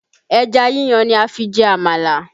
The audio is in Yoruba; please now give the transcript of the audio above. Ẹja yíyan ni a fi jẹ amala